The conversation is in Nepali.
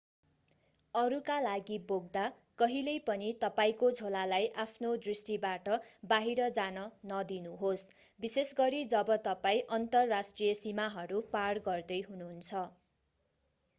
अरूका लागि बोक्दा कहिल्यै पनि तपाईंको झोलालाई आफ्नो दृष्टिबाट बाहिर जान नदिनुहोस् विशेषगरी जब तपाईं अन्तर्राष्ट्रिय सीमाहरू पार गर्दै हुनुहुन्छ